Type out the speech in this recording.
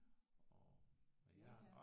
Ja ja